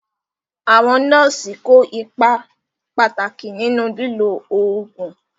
Àwọn nọ́ọ̀sì kó ipa pàtàkì nínú lílo oògùn.